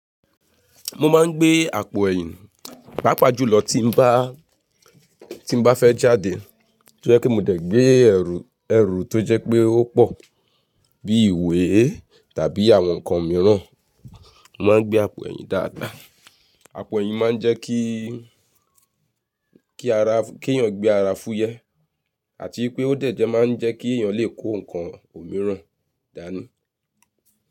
Mo máa ń gbé àpò ẹ̀yìn pàápàá jù lọ tí n bá, tí n bá fẹ́ jáde. Tó jẹ́ pé mo dẹ̀ gbé ẹrù, ẹrù tó jẹ́ pé ó pọ̀ bí ìwé tàbí àwọn nǹkan mìíràn. Mo máa ń gbé àpò ẹ̀yìn dáadáa. Àpò ẹ̀yìn máa ń jẹ́ kí, kí ara, kí èèyàn gbé ara fúyẹ́ àti pé ó dẹ̀ jẹ́ máa ń jẹ́ kí èèyàn lè kó nǹkan òmíràn dání.